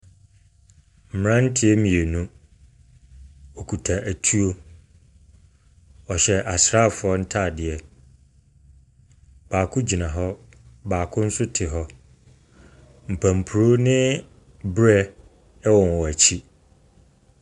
Mberantiɛ mienu, wokuta etuo. Wɔhyɛ asrafoɔ ntaadeɛ. Baako gyina hɔ, baako so te hɔ. Nkanporo ne berɛɛ ɛwɔ wɔn ekyi.